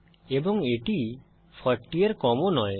এবং এটি 40 এর কম ও নয়